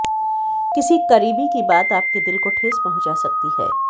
किसी करीबी की बात आपके दिल को ठेस पंहुचा सकती है